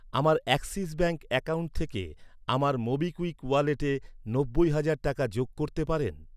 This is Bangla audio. আমার অ্যাক্সিস ব্যাঙ্ক অ্যাকাউন্ট থেকে আমার মোবিকুইক ওয়ালেটে নব্বই হাজার টাকা যোগ করতে পারেন?